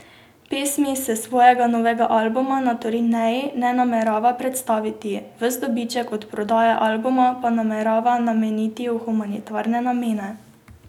Pesmi s svojega novega albuma na turneji ne namerava predstaviti, ves dobiček od prodaje albuma pa namerava nameniti v humanitarne namene.